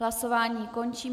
Hlasování končím.